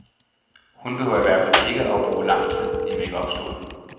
Hun behøver i hvert fald ikke bruge lang tid i makeup-stolen.